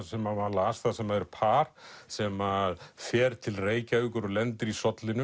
sem maður las þar sem er par sem fer til Reykjavíkur og lendir í